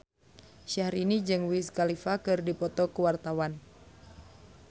Syahrini jeung Wiz Khalifa keur dipoto ku wartawan